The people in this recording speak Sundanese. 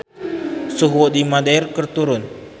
Suhu di Madeira keur turun